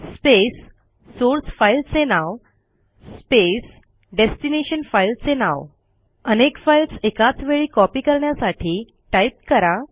space source file चे नाव space destination file चे नाव अनेक फाईल्स एकाच वेळी कॉपी करण्यासाठी टाईप करा